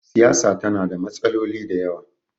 siyasa tana da matsaloli da yawa